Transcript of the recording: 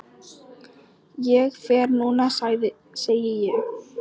Ég fer núna, segi ég.